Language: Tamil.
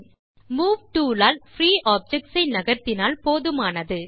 move tool all free objects ஐ நகர்த்தினால் போதுமானது